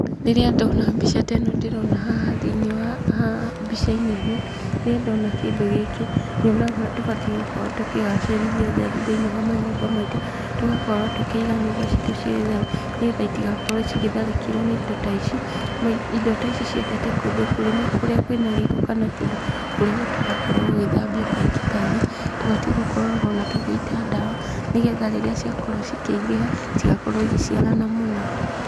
Rĩrĩa ndona mbica ta ĩno ndĩrona haha thĩiniĩ wa haha mbĩca-inĩ ĩno, rĩrĩa ndona kĩndũ gĩkĩ, nyonaga ũrĩa tũbatiĩ gũkorwo tũkĩgacĩrĩria ũtheru thĩiniĩ wa manyũmba maitu. Tũgakorwo tũkĩiga nyũmba citu ciĩ theru, nĩ getha itigakorwo cigĩtharĩkĩrwo nĩ indo ta ici. Indo ta ici ciendete kũndũ kũrĩ na kũrĩa kwĩ na gĩko kana kũndũ kũrĩa gũtarakorwo gũgĩthambio kaingĩ kaingĩ, tũbatiĩ onagũkoragwo ona tũgĩita ndawa, nĩ getha rĩrĩa ciakorwo cikĩingĩha citigakorwo igĩciarana mũno.